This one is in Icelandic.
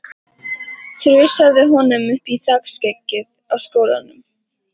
Þrusaði honum upp í þakskeggið á skólanum.